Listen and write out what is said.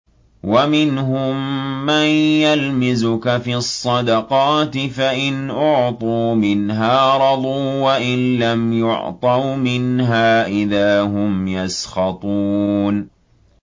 وَمِنْهُم مَّن يَلْمِزُكَ فِي الصَّدَقَاتِ فَإِنْ أُعْطُوا مِنْهَا رَضُوا وَإِن لَّمْ يُعْطَوْا مِنْهَا إِذَا هُمْ يَسْخَطُونَ